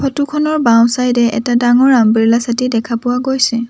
Photo খনৰ বাওঁ side এ এটা ডাঙৰ আমব্ৰেলা ছাতি দেখা পোৱা গৈছে।